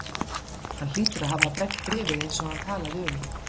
Hann hlýtur að hafa brennt bréfið eins og hann talaði um.